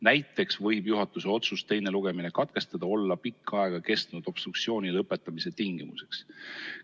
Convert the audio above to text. Näiteks võib juhatuse otsus teine lugemine katkestada olla pikka aega kestnud obstruktsiooni lõpetamise tingimuseks.